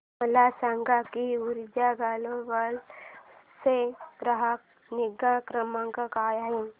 मला सांग की ऊर्जा ग्लोबल चा ग्राहक निगा क्रमांक काय आहे